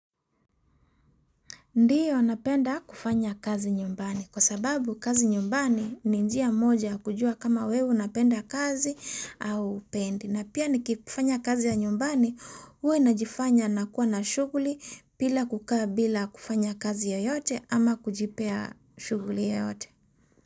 Ndiyo napenda kufanya kazi nyumbani kwa sababu kazi nyumbani ni njia moja kujua kama wewe unapenda kazi au hupendi. Na pia nikifanya kazi ya nyumbani huwa najifanya nakua na shughuli bila kukaa bila kufanya kazi yoyote ama kujipea shuguli ya yote.